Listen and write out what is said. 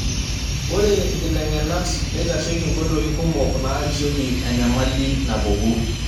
Ore nkiteng'enat neitasheki nkoitoi kumok naarishieki enyamali napuku.